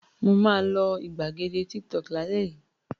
Mà á lo ìgbàgede Tiktok lálẹ́ yìí!